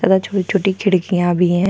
छोट- छोटी खिड़कियाँ भी है।